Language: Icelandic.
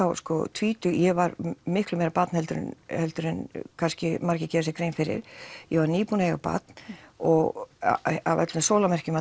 tvítug ég var miklu meira barn heldur en heldur en kannski margir gera sér grein fyrir ég var nýbúin að eiga barn og af öllum merkjum að